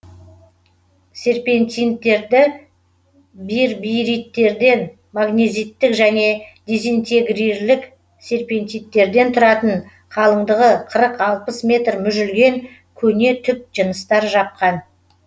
серпентиниттерді бирбириттерден магнезиттік және дезинтегрирлік серпентиниттерден тұратын қалындығы қырық алпыс метр мүжілген көне түп жыныстар жапқан